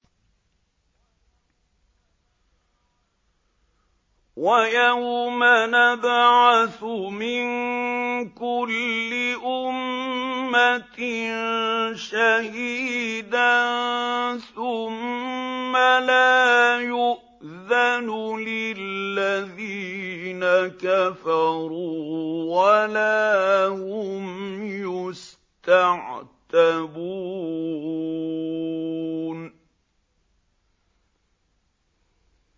وَيَوْمَ نَبْعَثُ مِن كُلِّ أُمَّةٍ شَهِيدًا ثُمَّ لَا يُؤْذَنُ لِلَّذِينَ كَفَرُوا وَلَا هُمْ يُسْتَعْتَبُونَ